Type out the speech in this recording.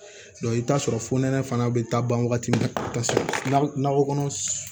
i bɛ taa sɔrɔ fo nɛnɛ fana bɛ taa ban wagati min taa nakɔ kɔnɔ